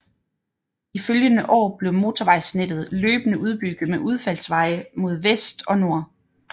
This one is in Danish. De følgende år blev motorvejsnettet løbende udbygget med udfaldsveje mod vest og nord